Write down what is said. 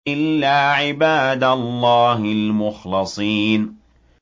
إِلَّا عِبَادَ اللَّهِ الْمُخْلَصِينَ